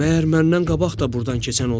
Məyər məndən qabaq da burdan keçən olub?